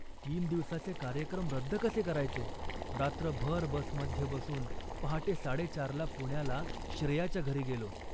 तीन दिवसांचे कार्यक्रम रद्द कसे करायचे. रात्रभर बसमध्ये बसून पहाटे चारसाडेचारला पुण्याला श्रेयाच्या घरी गेलो